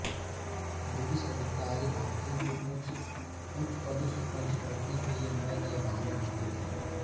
British अधिकारी भारतीयों को उच्च पदों से वंचित रखने के लिए नएनए बहाने ढूंढ़ते थे